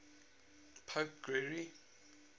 pope gregory